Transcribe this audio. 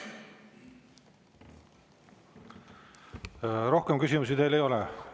Rohkem küsimusi teile ei ole.